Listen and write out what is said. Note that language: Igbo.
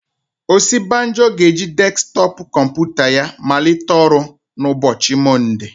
Osibajo ga-eji desktọpụ kọmputa ya malite ọrụ na ụbọchị Mọnde.